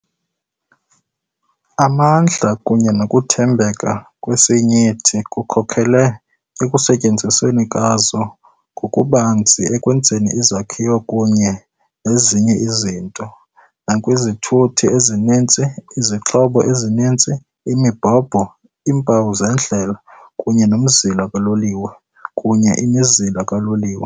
Amandla kunye nokuthembeka kwesinyithi kukhokelele ekusetyenzisweni kwazo ngokubanzi ekwenzeni izakhiwo kunye nezinye izinto, nakwizithuthi ezininzi, izixhobo ezininzi, imibhobho, iimpawu zendlela kunye nomzila kaloliwe. kunye imizila kaloliwe.